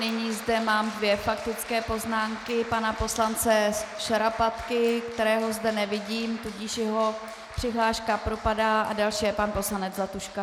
Nyní zde mám dvě faktické poznámky - pana poslance Šarapatky, kterého zde nevidím, tudíž jeho přihláška propadá, a další je pan poslanec Zlatuška.